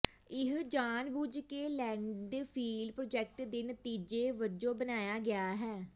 ਇਹ ਜਾਣਬੁੱਝ ਕੇ ਲੈਂਡਫਿਲ ਪ੍ਰਾਜੈਕਟ ਦੇ ਨਤੀਜੇ ਵਜੋਂ ਬਣਾਇਆ ਗਿਆ ਹੈ